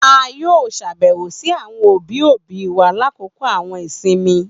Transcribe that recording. A yoo ṣabẹwo si awọn obi obi wa lakoko awọn isinmi.